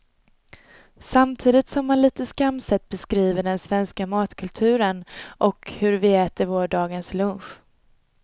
Samtidigt som man lite skamset beskriver den svenska matkulturen och hur vi äter vår dagens lunch.